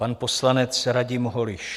Pan poslanec Radim Holiš.